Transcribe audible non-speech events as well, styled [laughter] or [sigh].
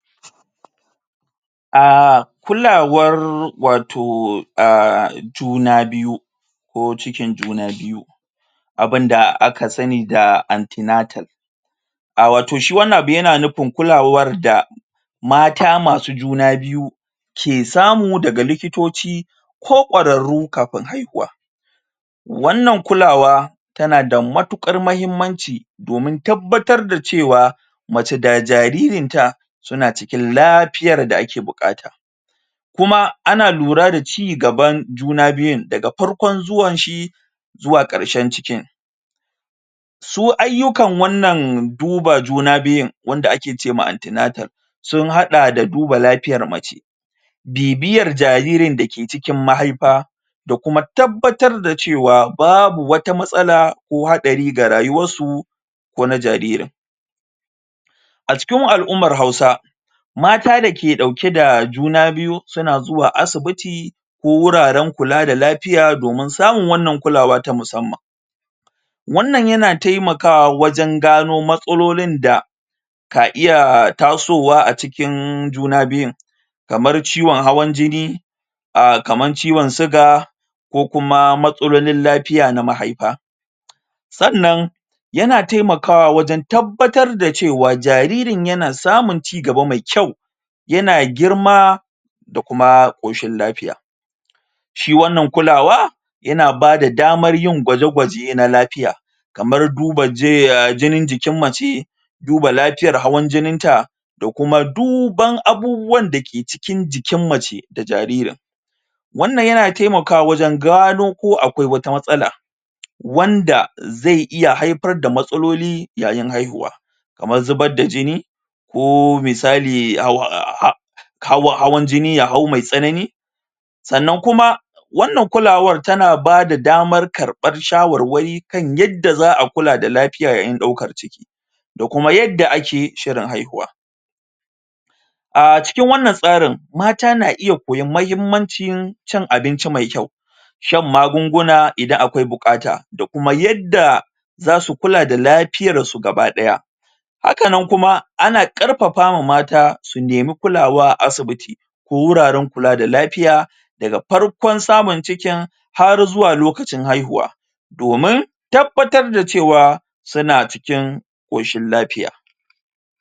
um kulawar watau um juna biyu ko cikin juna biyu abin da aka sani da ante natal um watau shi wannan abu yana nufin kulawar da mata masu juna biyu ke samu daga likitoci ko kwararu kafin haihuwa wannan kulawa tana da matukar muhimmanci domin tabbatar da cewa mace da jaririn ta suna cikinlafiyar da ake bukata kuma ana lura da ci gaban juna biyun daga farkon zuwan shi zuwa karshrn cikin su ayukan wannan duba juna biyun wanda ake ce ma ante natal sun hada da dubar lafiyar mace bibiyar jaririn da ke cikin mahaifa da kuma tabbatar da cewar babu wata matsala ko hadari ga rayuwar su ko na jaririn a cikin? alummar hausa mata da ke dauke da juna biyu suna zuwa asibiti ko wuraren kula da lafiya domin samun wannan kulawa ta musamman wannan yana taimakawa wajen gano matsalolin da ka iya tasowa a cikin juna biyun kamar ciwon hawar jini kaman ciwon suga ko kuma matalolin lafiya na mahaifa sannan yana taimakawa wajen tabbatar da cewa jaririn ya na samun cigaba mai kyau yana girma da kuma koshin lafiya shi wannan kulawa yana bada damar yin gwajegwaje na lafiya kamar duba jinin mace duba lafiyar hawan jinin ta da kuma duban abubuwan da ke cikin jikin mace da jariri wannan yana taimakawa wajen gano ko akwai wata matsala wanda zai iya haifar da matsaloli yayin haihuwa kamar zuba da jini ko misali [hesitation] hawan jini ya hau mai tsanani sannan kuma wannan kulawar ta na ba da damar karbar shawarwai kan yadda za'a kula da lafiyar yan daukar ciki da kuma yadda ake shirin haihuwa a cikin wannan tsarin mata na iya koyan mahimmancin cin abinci mai kyau shan magunguna idan akwai bukata da kuma yadda zasu kula dalafiyar su gabadaya haka nan kuma ana karfafa ma mata su nemi kulawa a aibiti ko wurarenkula da lafiya daa farkon samun cikin har zuwa lokacin haihuwa domin tabbatar da cewa suna cikin koshin lafiya